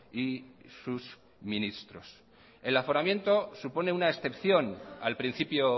y sus ministros el aforamiento supone una excepción al principio